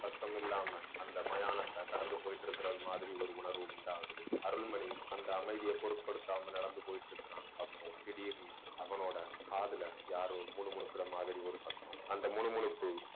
சத்தமில்லாமல் அந்த மயானத்தை கடந்து போயிட்டு இருக்கிற மாதிரி ஒரு உணர்வு உண்டாகுது அருள்மணி அந்த அமைதியை பொருட்படுத்தாமல் நடந்து போயிட்டு இருக்கிறான் அப்போ திடீர்ன்னு அவனோட காதுல யாரோ முணுமுணுக்கிற மாதிரி ஒரு சத்த அந்த முணுமுணுப்பு